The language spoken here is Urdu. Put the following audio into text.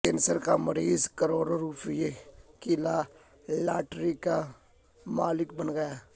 کینسر کا مریض کروڑوں روپے کی لاٹری کا مالک بن گیا